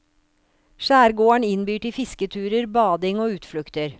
Skjærgården innbyr til fisketurer, bading og utflukter.